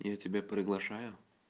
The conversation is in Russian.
я тебя приглашаю